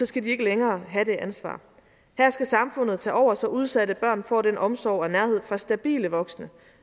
skal de ikke længere have det ansvar her skal samfundet tage over så udsatte børn får den omsorg og nærhed fra stabile voksne